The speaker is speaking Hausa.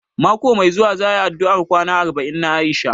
Mako mai zuwa za a yi addu'ar kwana arba'in na Aisha